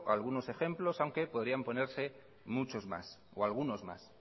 algunos ejemplos aunque podrían ponerse muchos más o algunos más